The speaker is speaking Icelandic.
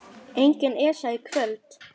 Engin Esja í kvöld.